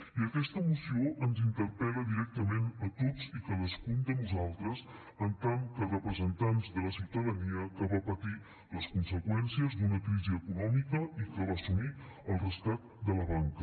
i aquesta moció ens interpel·la directament a tots i cadascú de nosaltres en tant que representants de la ciutadania que va patir les conseqüències d’una crisi econòmica i que va assumir el rescat de la banca